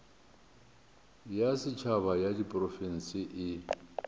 ya setšhaba ya diprofense e